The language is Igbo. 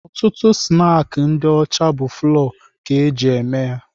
Ọtụtụ snaakị ndị ọcha bụ fụlọọ ka eji eme ya.